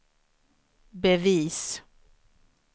bevis